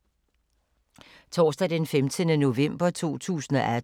Torsdag d. 15. november 2018